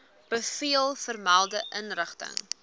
bevel vermelde inrigting